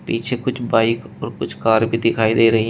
पीछे कुछ बाइक और कुछ कार भी दिखाई दे रही--